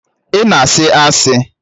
Ị na-asị asị!